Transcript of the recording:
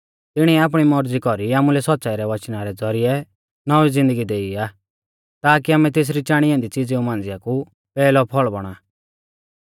तिणीऐ आपणी मौरज़ी कौरी आमुलै सौच़्च़ाई रै वचना रै ज़ौरिऐ नौंवी ज़िन्दगी देई आ ताकी आमै तेसरी चाणी ऐन्दी च़िज़ेऊ मांझ़िया कु पैहलौ फल़ बौणा